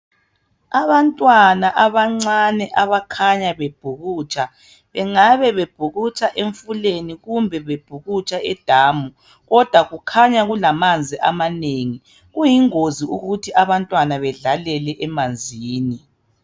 Abantwana abancane abakhanya bebhukutsha .Bengabe bebhukutsha emifuleni kumbe bebhukutsha edamu kodwa kukhanya kulamanzi amanengi. Kuyingozi ukuthi abantwana bedlalele emanzini.